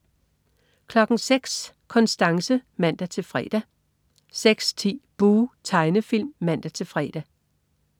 06.00 Konstanse (man-fre) 06.10 Buh! Tegnefilm (man-fre)